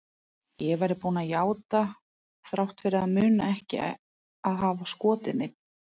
Ég væri búin að játa þrátt fyrir að muna ekki að hafa skotið neinn.